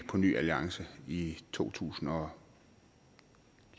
på ny alliance i to tusind og